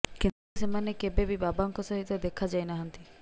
କିନ୍ତୁ ସେମାନେ କେବେ ବି ବାବାଙ୍କ ସହିତ ଦେଖା ଯାଇନାହାନ୍ତି